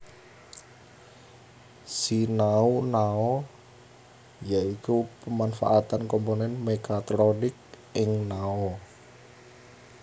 Sinau Nao ya iku pemanfaatan komponen mekatronik ing nao